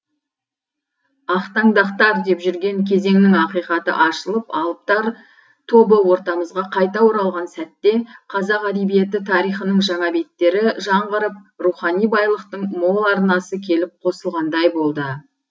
ақтаңдақтар деп жүрген кезеңнің ақиқаты ашылып алыптар тобы ортамызға қайта оралған сәтте қазақ әдебиеті тарихының жаңа беттері жаңғырып рухани байлықтың мол арнасы келіп қосылғандай болды